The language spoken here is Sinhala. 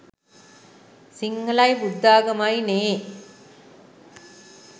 සිංහලයි බුද්ධාගමයිනේ.